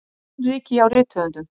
Annríki hjá rithöfundum